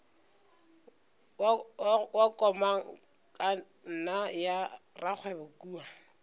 wa komangkanna ya rakgwebo kua